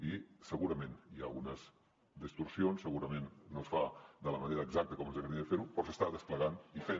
i segurament hi ha algunes distorsions segurament no es fa de la manera exacta com ens agradaria fer ho però s’està desplegant i fent